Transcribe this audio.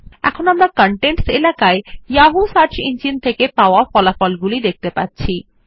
এখন আমরা কনটেন্টস এলাকায় যাহু সার্চ ইঞ্জিন থেকে পাওয়া ফলাফল গুলি দেখতে পাচ্ছি